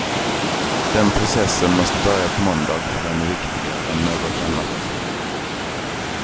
Den processen måste börja på måndag, för den är viktigare än något annat.